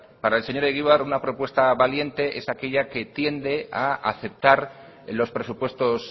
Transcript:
para el señor egibar una propuesta valiente es aquella que tiende a aceptar los presupuestos